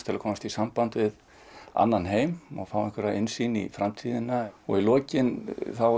til að komast í samband við annan heim og fá innsýn inn í framtíðina og í lokin